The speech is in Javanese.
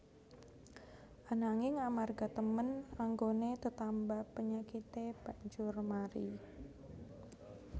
Ananging amarga temen anggoné tetamba penyakité banjur mari